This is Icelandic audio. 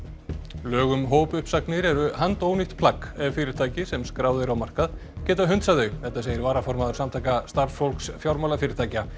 lög um hópuppsagnir eru handónýtt plagg ef fyrirtæki sem skráð eru á markað geta hunsað þau þetta segir varaformaður Samtaka starfsfólks fjármálafyrirtækja